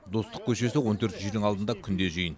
достық көшесі он төртінші үйдің алдында күнде жиын